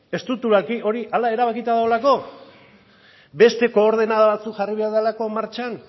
estruktura hori hala erabakita dagoelako beste koordenada batzuk jarri behar direlako martxan